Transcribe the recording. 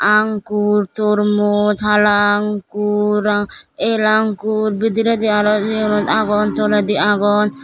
ankur tormoj hala ankur ar el ankur bidiredi aro yenot agon toledi agon.